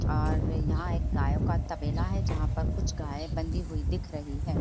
--और यहाँ पर एक गायो का तबेला है जहा पर कुछ गाय बंधी हुई दिख रही है।